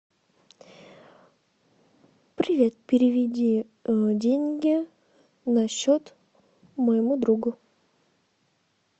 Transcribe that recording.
привет переведи деньги на счет моему другу